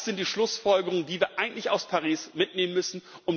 Das sind die Schlussfolgerungen, die wir eigentlich aus Paris mitnehmen müssen.